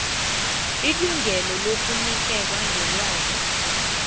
ilungelo lokunikela ngelwazi